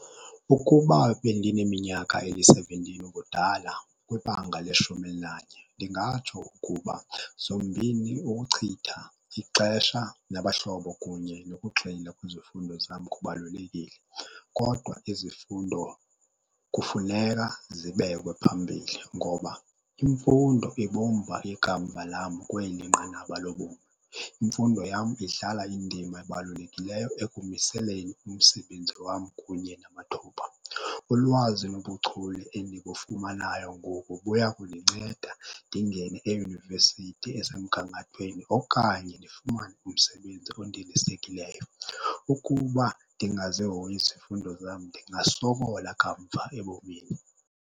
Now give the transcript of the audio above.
Ukuba bendineminyaka eyi-seventeen ubudala kwibanga leshumi elinanye, ndingatsho ukuba zombini, ukuchitha ixesha nabahlobo kunye nokuxhila kwizifundo zam kubalulekile. Kodwa izifundo kufuneka zibekwe phambili ngoba imfundo ibumba ikamva lam kweli nqanaba lobomi. Imfundo yam idlala indima ebalulekileyo ekumiseleni umsebenzi wam kunye namathuba. Ulwazi nobuchule endibufumanayo ngoku buya kundinceda ndingene eyunivesithi esemgangathweni okanye ndifumane umsebenzi ondilisekileyo. Ukuba ndingazihoyi izifundo zam ndingasokola kamva ebomini.